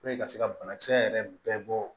ka se ka banakisɛ yɛrɛ bɛɛ bɔ